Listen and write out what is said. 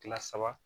Kile saba